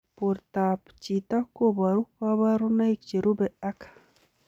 Portoop chitoo kobaruu kabarunaik cherubei ak